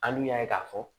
An dun y'a ye k'a fɔ